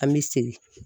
An bɛ segin